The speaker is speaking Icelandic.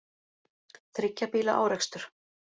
Þriggja bíla árekstur